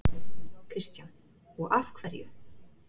Kristján: Og af hverju?